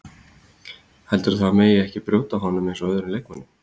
Heldurðu að það megi ekki brjóta á honum eins og öðrum leikmönnum?